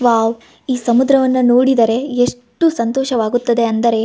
Wow . ಈ ಸಮುದ್ರವನ್ನು ನೋಡಿದರೆ ಎಷ್ಟು ಸಂತೋಷವಾಗುತ್ತದೆ ಅಂದರೆ --